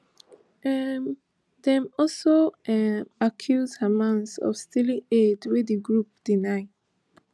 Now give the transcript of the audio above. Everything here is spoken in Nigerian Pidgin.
um dem also um accuse hamas of stealing aid wey di group deny